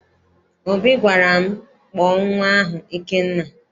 Obi gwara m, kpọọ nnwa ahụ Ikenna!